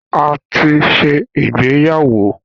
A ti ṣe ìgbéyàwó